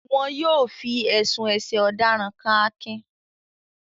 Wọn yóò fi ẹ̀sùn ẹ̀sẹ̀ ọ̀daràn kan Akin